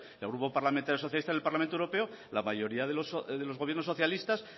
el grupo parlamentario socialista en el parlamento europeo la mayoría de los gobiernos socialistas